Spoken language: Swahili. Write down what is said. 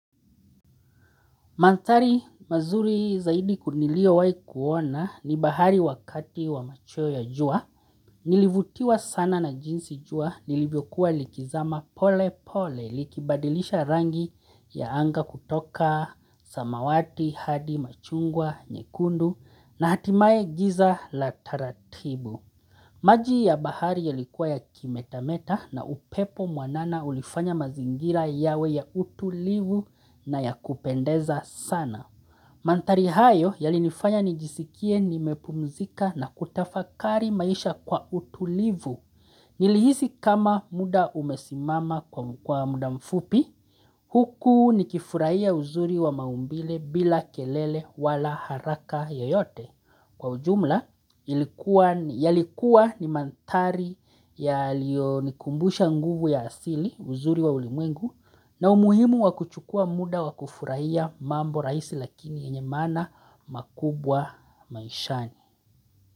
Mantari mazuri zaidi kunilio wai kuona ni bahari wakati wa machweo ya jua, nilivutiwa sana na jinsi jua, nilivyokuwa likizama pole pole likibadilisha rangi ya anga kutoka, samawati, hadi, machungwa, nyekundu na hatimaye giza la taratibu. Maji ya bahari yalikuwa ya kimetameta na upepo mwanana ulifanya mazingira yawe ya utulivu na ya kupendeza sana. Mantari hayo yalinifanya nijisikie nimepumzika na kutafakari maisha kwa utulivu. Nilihisi kama muda umesimama kwa muda mfupi, huku nikifurahia uzuri wa maumbile bila kelele wala haraka yoyote. Kwa ujumla, yalikuwa ni mantari yalio nikumbusha nguvu ya asili uzuri wa ulimwengu na umuhimu wakuchukua muda wakufurahia mambo rahisi lakini yenye mana makubwa maishani.